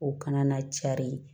O kana na cari